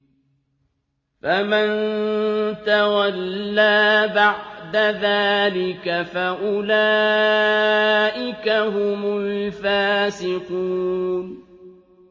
فَمَن تَوَلَّىٰ بَعْدَ ذَٰلِكَ فَأُولَٰئِكَ هُمُ الْفَاسِقُونَ